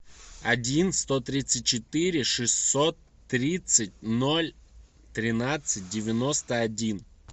один сто тридцать четыре шестьсот тридцать ноль тринадцать девяносто один